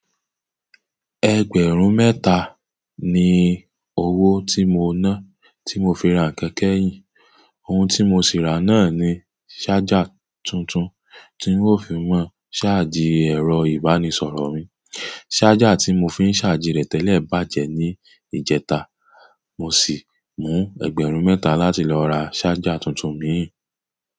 Ẹgbẹ̀rún mẹ́ta ni owó tí mo ná, tí mo fi ra kẹ̀kẹ́ yìí. Ohun tí mo sì ra náà ni ṣájà tuntun tí n ó fi máa ṣáàjì ẹ̀rọ ìbánisọ̀rọ̀ mi. Ṣájà tí mo fi ń ṣáàjì rẹ̀ tẹ́lẹ̀ bàjẹ́ ní ìjẹta. Mo sì mú ẹgbẹ̀rún mẹ́ta láti lọ ra ṣájà tuntun mìíì.